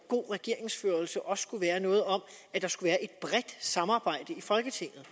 god regeringsførelse også er noget om et bredt samarbejde i folketinget